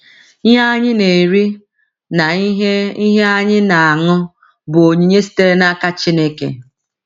Ihe anyị na - eri na ihe ihe anyị na - aṅụ bụ onyinye sitere n’aka Chineke.